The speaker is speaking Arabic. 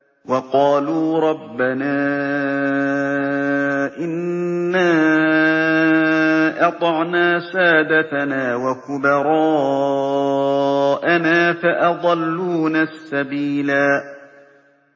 وَقَالُوا رَبَّنَا إِنَّا أَطَعْنَا سَادَتَنَا وَكُبَرَاءَنَا فَأَضَلُّونَا السَّبِيلَا